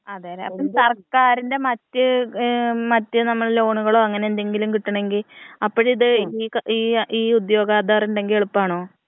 അതേല്ലേ അപ്പൊ സർക്കാരിന്റെ മറ്റ് ഏഹ് മറ്റു നമ്മള് ലോണുകളോ അങ്ങനെ എന്തെങ്കിലും കിട്ടണെങ്കി അപ്പഴിത് ഈ ഈ ഈ ഉദ്യോഗാധാറ് ഉണ്ടെങ്കി എളുപ്പാണോ?